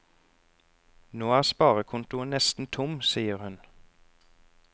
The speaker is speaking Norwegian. Nå er sparekontoen nesten tom, sier hun.